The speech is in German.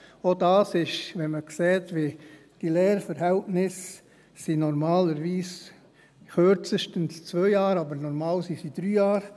Auch das ist, wenn man sieht, wie die Lehrverhältnisse normalerweise sind – kürzestens 2 Jahre, aber normalerweise 3 Jahre …